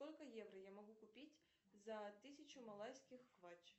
сколько евро я могу купить за тысячу малайских квач